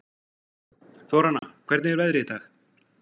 Þóranna, hvernig er veðrið í dag?